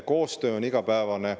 Koostöö on igapäevane.